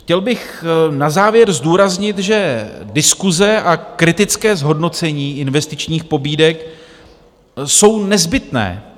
Chtěl bych na závěr zdůraznit, že diskuse a kritické zhodnocení investičních pobídek jsou nezbytné.